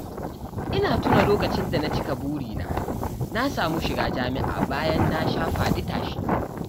Ina tuna lokacin da na cika burina na samu shiga jami'a bayan na sha faɗi-tashi